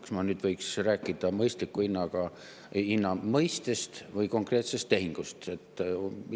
Kas ma nüüd võiksin rääkida mõistliku hinna mõistest või räägin konkreetsest tehingust?